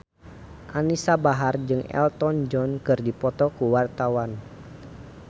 Anisa Bahar jeung Elton John keur dipoto ku wartawan